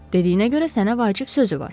Dediyinə görə sənə vacib sözü var.